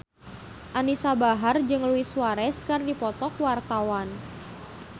Anisa Bahar jeung Luis Suarez keur dipoto ku wartawan